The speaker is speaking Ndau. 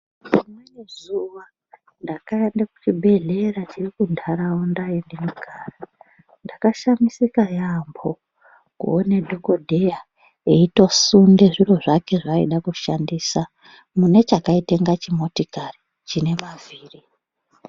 Rimweni zuwa ndakaende kuchibhedhlera chiri kuntaraunda yendinogara, ndakashamisika yaambo kuone dhokodheya eyitosunde zviro zvake zvaaida kushandisa mune chakaita inga chimotikari chine mavhiri.